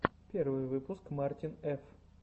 первый выпуск мартин ф